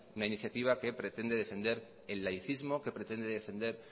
una iniciativa que pretende defender el laicismo que pretende defender